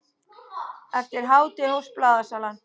Eftir hádegi hófst blaðasalan.